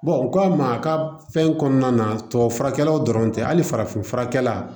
u k'a ma a ka fɛn kɔnɔna na tubabufurakɛlaw dɔrɔn tɛ hali farafin furakɛla